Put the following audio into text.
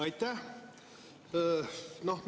Aitäh!